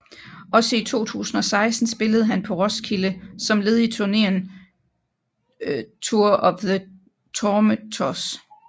Også i 2006 spillede han på Roskilde som led i turneen Tour of the Tormentors